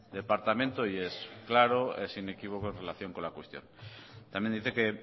departamento y es claro es inequívoco en relación con la cuestión también dice que